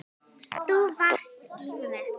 Þú varst líf mitt.